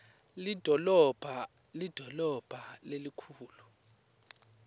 lidolobha lidolobha lelikhulu